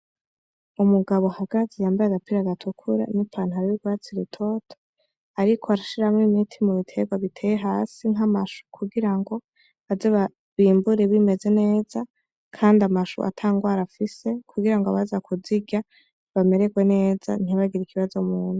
Umugabo ahagaze yambaye agapira gatukura n'ipantaro y'urwatsi rutoto ariko arashimwo umuti mu biterwa biteye hasi nk'amashu, kugira ngo baze bimbure bimeze neza kandi amashu ata ngwara afise, kugira ngo abaza kuzirya bameregwe neza, ntibagire ikibazo mu nda.